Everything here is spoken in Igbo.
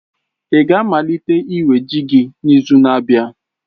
ị ga-amalite iwe ji gị n'izu na-abịa?